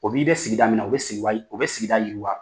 O b'i dɛ sigida min na o bɛ sigi wa o bɛ sigi yiri wa